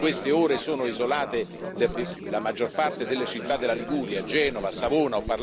In queste ore sono isolate la maggior parte delle città della Liguria, tra cui Genova e Savona.